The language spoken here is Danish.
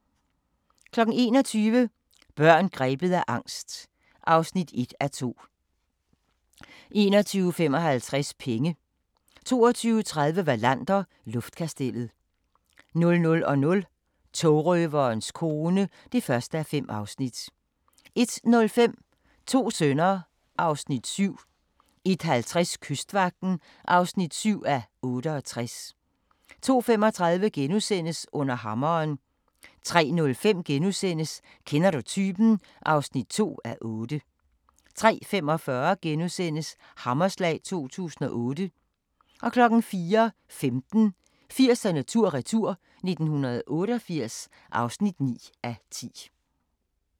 21:00: Børn grebet af angst (1:2) 21:55: Penge 22:30: Wallander: Luftkastellet 00:00: Togrøverens kone (1:5) 01:05: To sønner (Afs. 7) 01:50: Kystvagten (7:68) 02:35: Under hammeren * 03:05: Kender du typen? (2:8)* 03:45: Hammerslag 2008 * 04:15: 80'erne tur-retur: 1988 (9:10)